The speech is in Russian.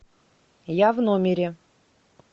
я в номере